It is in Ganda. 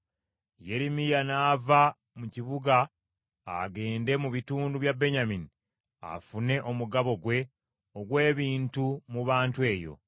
Yeremiya n’ava mu kibuga agende mu bitundu bya Benyamini afune omugabo gwe ogw’ebintu mu bantu eyo.